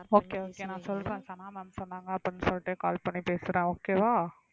okay okay நான் சொல்றேன் Sana ma'am சொன்னாங்க அப்படின்னு சொல்லிட்டு call பண்ணி பேசுறேன் okay வா